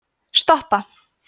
stoppa